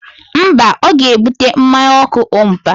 Mba, ọ ga-ebute mmanya ọkụ ompa